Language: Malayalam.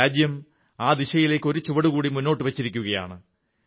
രാജ്യം ആ ദിശയിലേക്ക് ഒരു ചുവടുകൂടി മുന്നോട്ടു വച്ചിരിക്കയാണ്